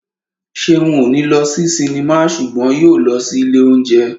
Ṣeun ò ní lọ sí sinimá ṣùgbọ́n yóò lọ sí ilé óúnjẹ